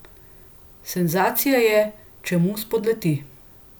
Senzacija je, če mu spodleti.